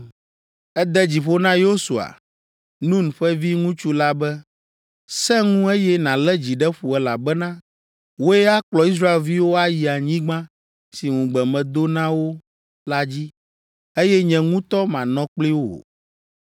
Ede dzi ƒo na Yosua, Nun ƒe viŋutsu la be, “Sẽ ŋu eye nalé dzi ɖe ƒo elabena wòe akplɔ Israelviwo ayi anyigba si ŋugbe medo na wo la dzi, eye nye ŋutɔ manɔ kpli wò.”